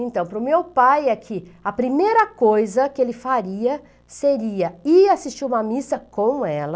Então, para o meu pai, é que, a primeira coisa que ele faria seria ir assistir uma missa com ela,